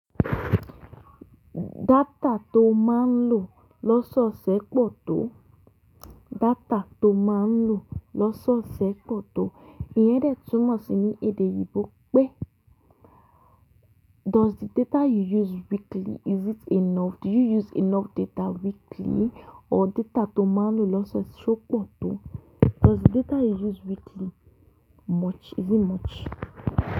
Dátà tó máa ń lo lọ́sọ̀ọ̀sẹ̀ pọ̀ tó. Data to ma n lo lọ́sọ̀ọ̀sẹ̀ pọ̀ tó. Ìyẹn dẹ̀ túmọ̀ sí ní èdè Òyìnbó pé "Is it enough? Do you use enough data weekly" Or data tó o máa ń lo lọ́sọ̀ọ̀sẹ̀ ṣó pọ̀ tó? Does the data you use weekly much? Is it much?